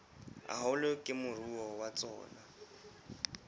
haholo ke moruo wa tsona